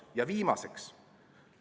Ja viimaseks.